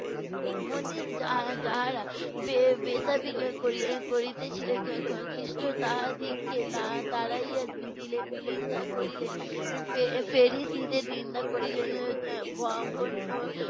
মন্দির যাহা~ যাহারা করিয়ে~ করিতেছিলেন খি~ খি~ খ্রিষ্ট তাহাদিগকে তা~ তাড়াইয়া দি~ দিলেন, নিন্দা করিলেন। এর ফে~ ফেরিসিদের নিন্দা করিলেন